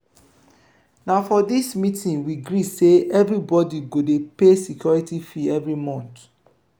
na for di meeting we gree sey everybodi go dey pay security fee every month.